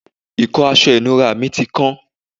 ìkọ́ aṣọ ìnura mi ti kán